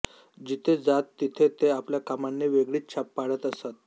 जिथे जात तिथे ते आपल्या कामांनी वेगळीच छाप पाडत असत